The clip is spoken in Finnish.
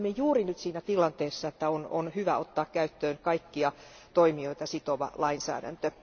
Me olemme juuri nyt siinä tilanteessa, että on hyvä ottaa käyttöön kaikkia toimijoita sitova lainsäädäntö.